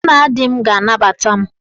Nna di m ga-anabata m.